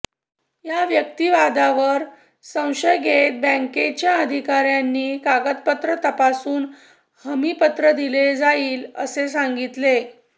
या युक्तिवादावर संशय घेत बँकेच्या अधिकाऱ्यांनी कागदपत्र तपासून हमीपत्र दिले जाईल असे सांगितले